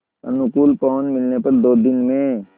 अनुकूल पवन मिलने पर दो दिन में